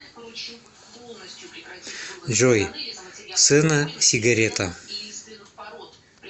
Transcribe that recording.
джой сэна сигарета